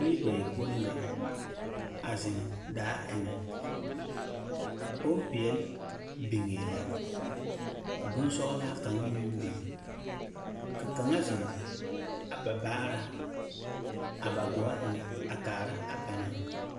Biiri bayopoi la a zeŋ daa eŋԑ. Bompeԑle biŋee la, ka bonsͻgelaa kaŋa meŋ biŋ. Ka kaŋa zeŋ a ba baaraa a ba gͻͻ eŋԑ a kaara a banaŋ.